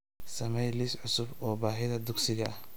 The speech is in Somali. samee liis cusub oo baahida dugsiga ah